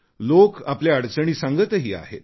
लोक आपल्या अडचणी सांगतही आहेत